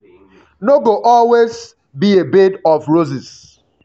no go always be a bed of um roses.